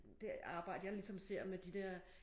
Det arbejde jeg ligesom ser med de der